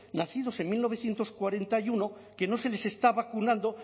nacidos en mil novecientos cuarenta y uno que no se les está vacunando